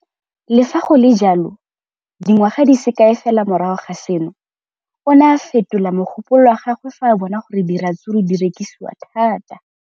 Le fa go le jalo, dingwaga di se kae fela morago ga seno, o ne a fetola mogopolo wa gagwe fa a bona gore diratsuru di rekisiwa thata.